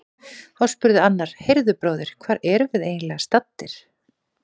Þá spurði annar: Heyrðu bróðir, hvar erum við eiginlega staddir?